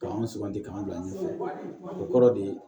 K'anw suganti k'an bila ɲɛfɛ o kɔrɔ de